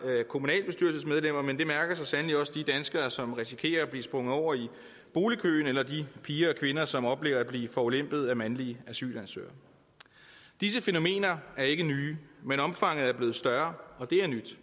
kommunalbestyrelsesmedlemmer men det mærker så sandelig også de danskere som risikerer at blive sprunget over i boligkøen eller de piger og kvinder som oplever at blive forulempet af mandlige asylansøgere disse fænomener ikke nye men omfanget er blevet større og det er nyt